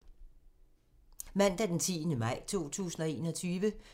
Mandag d. 10. maj 2021